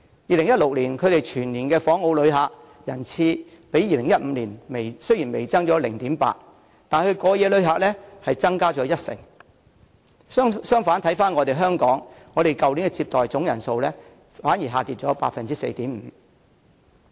2016年的全年訪澳旅客人次雖只較2015年微升 0.8%， 但過夜旅客卻增加了一成，反觀香港去年的整體接待旅客總人數反而下跌了 4.5%。